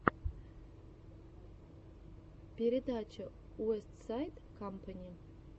передача уэстсайд кампани